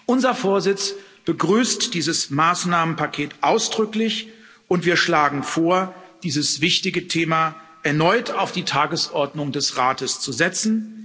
Unser Vorsitz begrüßt dieses Maßnahmenpaket ausdrücklich, und wir schlagen vor, dieses wichtige Thema erneut auf die Tagesordnung des Rates zu setzen.